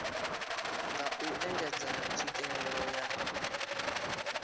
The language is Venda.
nga u engedza tswikelelo ya